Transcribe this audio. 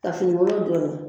Ka finikolon don o la.